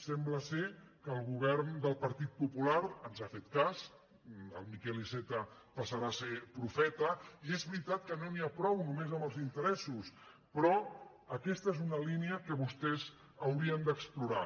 sem·bla que el govern del partit popular ens ha fet cas el miquel iceta passarà a ser profeta i és veritat que no n’hi ha prou només amb els interessos però aquesta és una línia que vostès haurien d’explorar